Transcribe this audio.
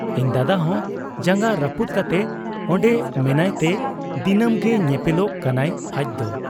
ᱤᱧ ᱫᱟᱫᱟᱦᱚᱸ ᱡᱟᱝᱜᱟ ᱨᱟᱹᱯᱩᱫ ᱠᱟᱛᱮ ᱚᱱᱰᱮ ᱢᱮᱱᱟᱸᱭᱛᱮ ᱫᱤᱱᱟᱹᱢ ᱜᱮ ᱧᱮᱯᱮᱞᱚᱜ ᱠᱟᱱᱟᱭ ᱟᱡᱫᱚ ᱾